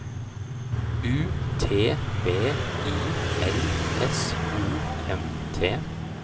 U T V I L S O M T